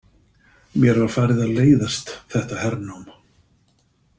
Mér var farið að leiðast þetta hernám.